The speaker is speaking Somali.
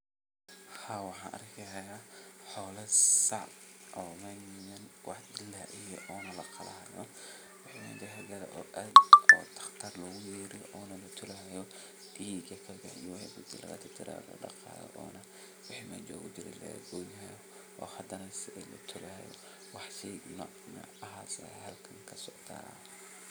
shegan waa qaro qaraahasoo waxaa loo beera dhul aad iyo aad ufican caradiisa nah ay fican tahay carra qoyaan leh waxaa nah waxaan loga helaa dhulkaasi jubooyinka hoose ama shabeelada iyo dhulalka somaalida